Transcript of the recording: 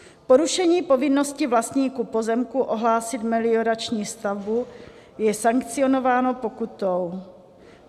Porušení povinnosti vlastníků pozemku ohlásit meliorační stavbu je sankcionováno pokutou.